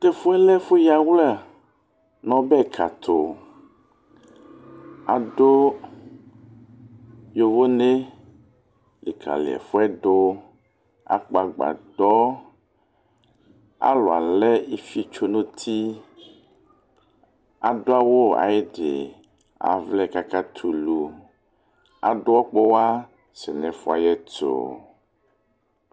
Tu ɛfu yɛ lɛ ɛfu yawla nu ɔbɛ ka tu Adu yovonɛ likali ɛfu yɛ du Akpɔ agbadɔ Alu alɛ ifiotso nu uti adu awu ayidi Avlɛ kaka tɛ ulu Adu ɔkpɔwa sɛ nu ɛfu yɛ about